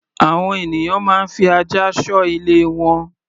Àwọn ènìyàn máa ń fi ajá ṣọ́ ilé wọn.